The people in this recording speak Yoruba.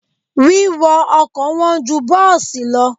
Wíwọ ọkọ̀ wọn ju bọ́ọ̀sì lọ.